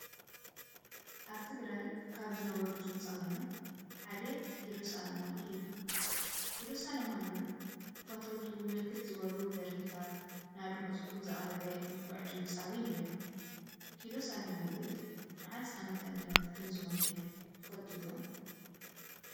አብ ትግራይ ካብ ዝነበሩ ድምፂዊያን ሓደ ኪሮስ አለማዮህ እዩ ።ኪሮስ አለማዮህ ንፈተውቱ ብርክት ዝበሉ ድርፍታት ንአድመፅቱ ዘቅረበ ንፈዕ ድምፃዊ ነይሩ ። ኪሮስ አለማዮህ መዓዝ አመተምህረት ከም ዝሞተ ትፈልጡ ዶ?